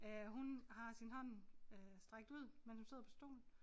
Øh hun har sin hånd øh strakt ud mens hun sidder på stolen